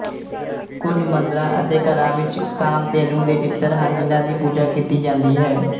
ਕੁਝ ਮੰਦਰਾਂ ਅਤੇ ਘਰਾਂ ਵਿੱਚ ਕਾਮਧੇਨੂ ਦੇ ਚਿੱਤਰ ਹਨ ਜਿਨ੍ਹਾਂ ਦੀ ਪੂਜਾ ਕੀਤੀ ਜਾਂਦੀ ਹੈ